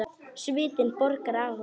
Svitinn bogar af honum.